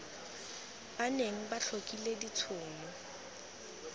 ba neng ba tlhokile ditshono